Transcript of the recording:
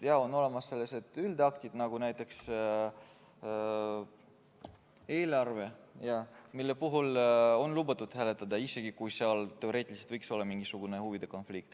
Jaa, on olemas üldaktid, nagu näiteks eelarve, mille puhul on lubatud hääletada, isegi kui seal teoreetiliselt võiks olla mingisugune huvide konflikt.